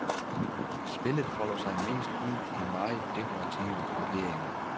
Spillet folder sig mest ud i meget dekorative grupperinger.